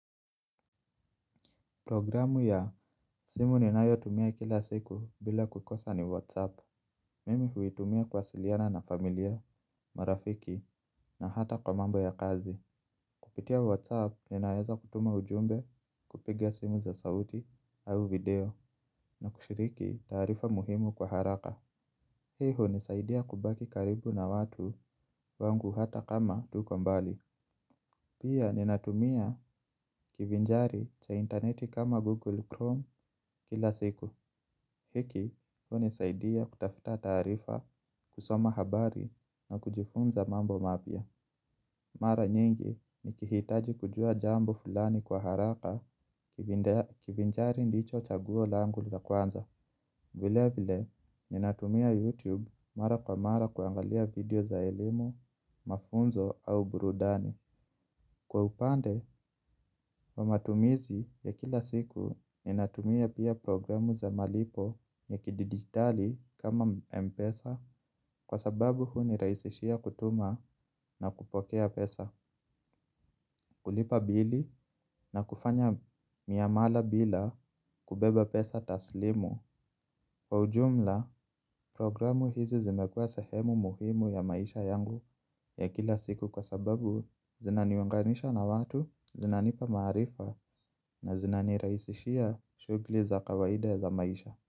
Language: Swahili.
Programu ya simu ninayotumia kila siku bila kukosa ni Whatsapp. Mimi huitumia kuwasiliana na familia, marafiki na hata kwa mambo ya kazi. Kupitia Whatsapp ninaeza kutuma ujumbe kupiga simu za sauti au video na kushiriki tarifa muhimu kwa haraka. Hii hunisaidia kubaki karibu na watu wangu hata kama tuko mbali. Pia ninatumia kivinjari cha interneti kama Google Chrome kila siku. Hiki, hunisaidia kutafuta tarifa, kusoma habari na kujifunza mambo mapia. Mara nyingi nikihitaji kujua jambo fulani kwa haraka kivinjari ndicho chaguo langul la kwanza. Vile vile, ninatumia YouTube mara kwa mara kuangalia video za elimu, mafunzo au burudani. Kwa upande wa matumizi ya kila siku ninatumia pia programu za malipo ya kididigitali kama mpesa kwa sababu huniraisishia kutuma na kupokea pesa, kulipa bili na kufanya miamala bila kubeba pesa taslimu. Kwa ujumla, programu hizi zimekua sehemu muhimu ya maisha yangu ya kila siku kwa sababu zinaniunganisha na watu, zinanipa maharifa na zinaniraisishia shugli za kawaida za maisha.